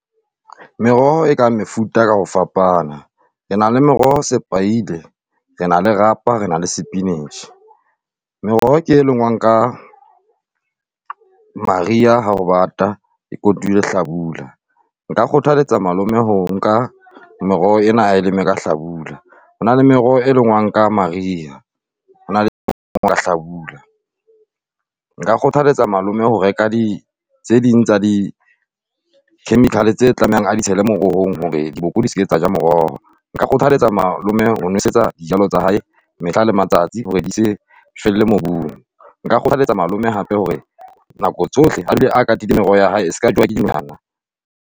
Meroho e ka mefuta ka ho fapana. Re na le meroho sepaile, re na le rapa, re na le spinach. Meroho ke e lengwang ka mariha ha ho bata e kotulwe hlabula. Nka kgothaletsa malome ho nka meroho ena a e leme ka hlabula. Ho na le meroho, e lengwang ka mariha, ho na le ya hlabula. Nka kgothaletsa malome ho reka di tse ding tsa di-chemical tseo a tlamehang a di tshele merohong hore diboko di se ke tsa eja moroho. Nka kgothaletsa malome ho nwesetsa dijalo tsa hae mehla le matsatsi hore di se felle mobung. Nka kgothaletsa malome hape hore nako tsohle a dule a katile meroho ya hae e seka jewa ke dinonyana.